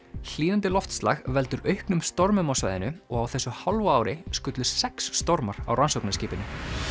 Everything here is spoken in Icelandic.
hlýnandi loftslag veldur auknum stormum á svæðinu og á þessu hálfa ári skullu sex stormar á rannsóknarskipinu